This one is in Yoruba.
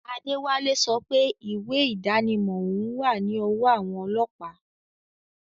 Adewale sope iwe idanimo oun wa ni owo awon olopa